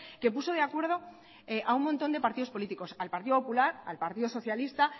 que puso de acuerdo a un montón de partidos políticos al partido popular al partido socialista